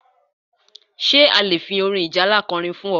Ṣé a lè fi orin ìjálá ko orin fún ọ?